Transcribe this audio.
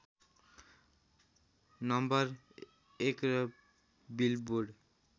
नं १ र बिलबोर्ड